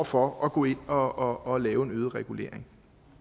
for at gå ind og og lave en øget regulering